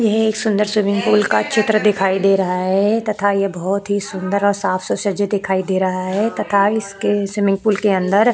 यह एक सुंदर स्विमिंग पूल का चित्र दिखाई दे रहा है तथा यह बहोत ही सुंदर और साफ से सजे दिखाई दे रहा है तथा इसके स्विमिंग पूल के अंदर --